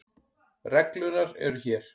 Reglurnar eru hér.